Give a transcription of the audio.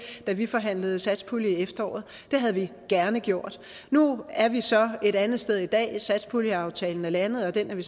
til da vi forhandlede satspulje i efteråret det havde vi gerne gjort nu er vi så et andet sted i dag satspuljeaftalen er landet og den er vi